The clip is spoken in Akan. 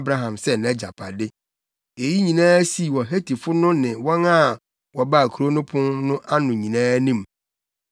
Abraham sɛ nʼagyapade. Eyi nyinaa sii wɔ Hetifo no ne wɔn a wɔbaa kurow no pon no ano nyinaa anim.